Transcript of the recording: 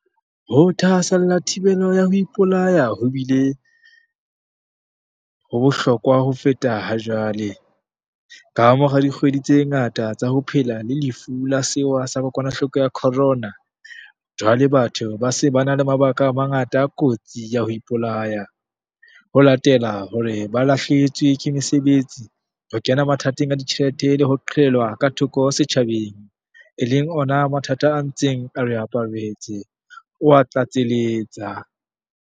Ho thahasella thibelo ya ho ipolaya ho bile ho bohlokwa ho feta hajwale, kamora dikgwedi tse ngata tsa ho phela le Lefu la Sewa sa Kokwanahloko ya Corona, jwale batho ba se ba na le mabaka a mangata a kotsi ya ho ipolaya, ho latela hore ba lahlehelwe ke mesebetsi, ho kena mathateng a ditjhelete le ho qhelelwa ka thoko setjhabeng, e leng ona mathata a ntseng a re aparetse, o a tlatseletsa.